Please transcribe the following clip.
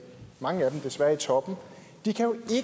mange af dem desværre i toppen